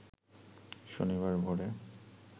শনিবার ভোরে